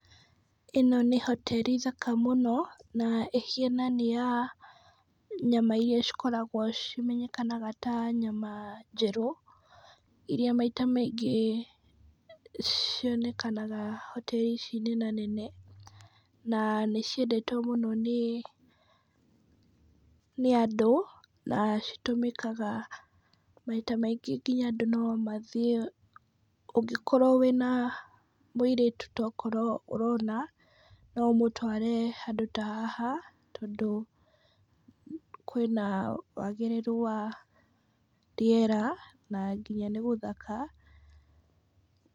Ĩno nĩ hoteri thaka mũno, na ĩhiana nĩ ya nyama iria cikoragwo cimenyekanaga ta nyama njeru , iria maita maingĩ cionekanaga hoteri ici nenanene, na nĩ ciendetwo mũno nĩ andũ, na citũmĩkaga maita maingĩ nginya andũ no mathiĩ, ũngĩkorwo wĩna mũirĩtu tokrwo ũrona, no ũmũtware handũ ta haha, tondũ kwĩna wagĩrĩru wa rĩera, na nginya nĩ gũthaka.